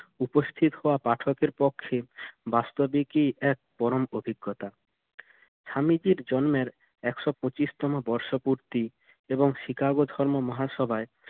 উপস্থিত হওয়া পাঠকের পক্ষে বাস্তবিকই এক পরম অভিজ্ঞতা স্বামীজির জন্মের একশত পঁচিশতম বর্ষ পূর্তি এবং শিকাগো ধর্ম মহাসভায়